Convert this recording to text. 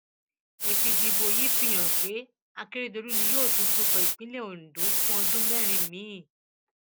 èsì ìdìbò yìí fi hàn pé akérèdọlù ni yóò tún tukọ ìpínlẹ ondo fún ọdún mẹrin míín